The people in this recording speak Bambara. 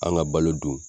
An ka balo dun